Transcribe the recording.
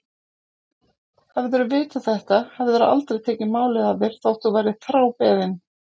Hefðirðu vitað þetta hefðirðu aldrei tekið málið að þér þótt þú værir þrábeðinn.